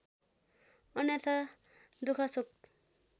अन्यथा दुख शोक